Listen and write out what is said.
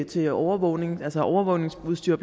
til overvågning altså overvågningsudstyr